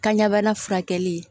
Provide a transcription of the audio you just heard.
Kan ɲɛbana furakɛli